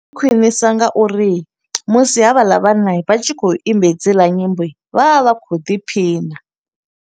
Ndi khwinisa nga uri musi havhaḽa vhana, vha tshi khou imba hedziḽa nyimbo, vha vha vha khou ḓiphina.